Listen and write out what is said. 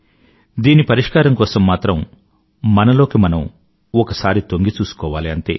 దీని పరిష్కారం కోసం మాత్రం మనలోకి మనం ఒకసారి తొంగిచూసుకోవాలి అంతే